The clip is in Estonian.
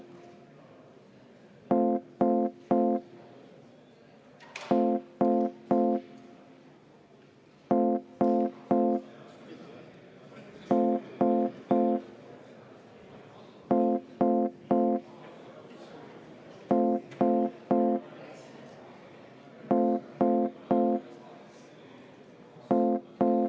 Aitäh, ma soovin meie fraktsiooni nimel 10 minutit vaheaega.